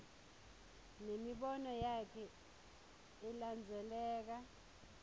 nemibono yakhe ilandzeleka